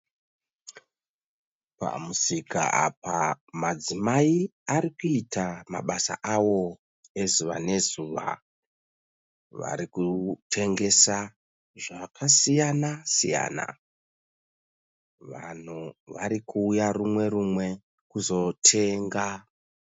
Pamusika apa madzimai arikuita mabasa awo ezuva nezuva, varikutengesa zvakasiyana siyana. Vanhu varikuuyarumwe rumwe kuuya kuzotenga.